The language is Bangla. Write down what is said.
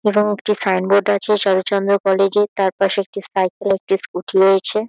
এবং একটি সাইন বোর্ড আছে চারুচন্দ্র কলেজ -এর তার পাশে একটি সাইকেল একটি স্কুটি রয়েছে।